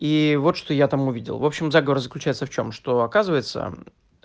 и вот что я там увидел в общем разговор заключается в чём что оказывается